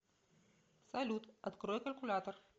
салют открой калькулятор